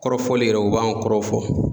Kɔrɔfɔli yɛrɛ o b'an kɔrɔ fɔ